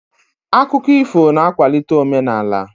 Akụkọ ifo na-akwalite omenaala.